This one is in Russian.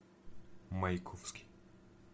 маяковский